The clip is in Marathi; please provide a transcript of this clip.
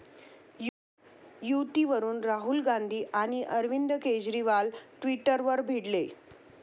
युतीवरून राहुल गांधी आणि अरविंद केजरीवाल ट्विटरवर भिडले